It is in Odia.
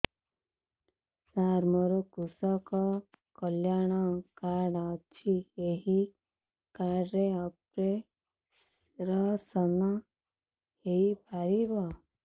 ସାର ମୋର କୃଷକ କଲ୍ୟାଣ କାର୍ଡ ଅଛି ଏହି କାର୍ଡ ରେ ଅପେରସନ ହେଇପାରିବ